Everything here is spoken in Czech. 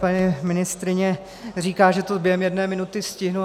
Paní ministryně říká, že to během jedné minuty stihnu.